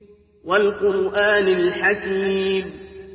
وَالْقُرْآنِ الْحَكِيمِ